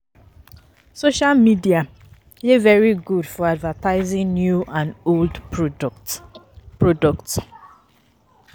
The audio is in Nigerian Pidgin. Social medis dey very good for advertising new and old products products